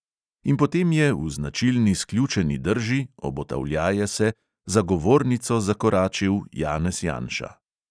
In potem je, v značilni sključeni drži, obotavljaje se, za govornico zakoračil janez janša.